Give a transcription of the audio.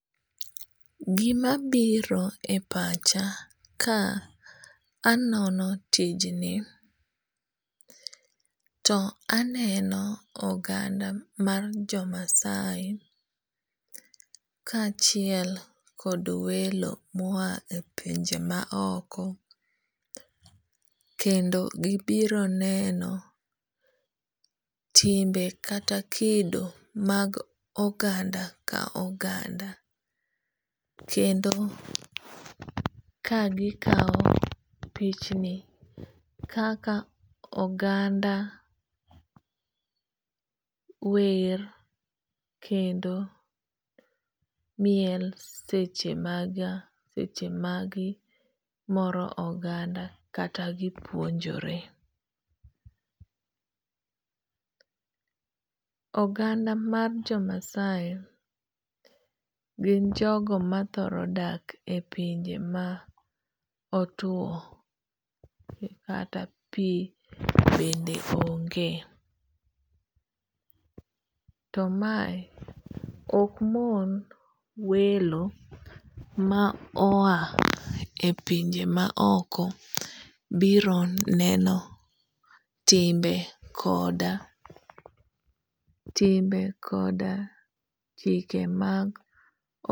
Gima biro e pacha ka anono tijni to aneno oganda mar jo Maasai kachiel kod welo mo a e pinje ma oko . Kendo gibiro neno timbe kata kido mag oganda ka oganda. Kendo ka gikaw pichni kaka oganda wer kendo miel seche magimoro oganda kata gipuonjore. Oganda mar jo Maasai gin jogo ma thoro dak e pinje ma otuo kata pi bende onge. To mae ok mon welo ma o a e pinje ma oko biro neno timbe koda timbe koda chike mag.